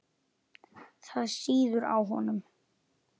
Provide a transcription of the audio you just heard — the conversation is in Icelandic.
Það sýður á honum.